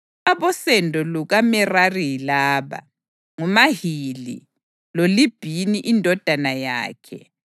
Abosendo lukaMerari yilaba: nguMahili, loLibhini indodana yakhe, loShimeyi indodana yakhe, lo-Uza indodana yakhe,